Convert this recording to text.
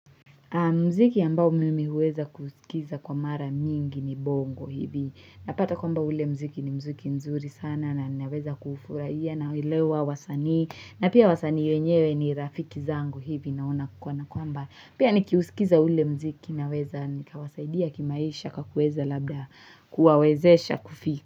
Mziki ambao mimi huweza kusikiza kwa mara mingi ni bongo hivi. Napata kwamba ule mziki ni mziki mzuri sana na naweza kuufurahia na elewa wasanii na pia wasanii wenyewe ni rafiki zangu hivi naona kwana kwamba pia nikiusikiza ule mziki naweza nikawasaidia kimaisha kakuweza labda kuwawezesha kufika.